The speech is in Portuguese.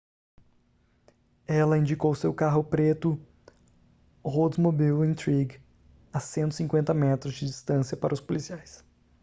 ela indicou seu carro preto oldsmobile intrigue a 150 metros de distância para os policiais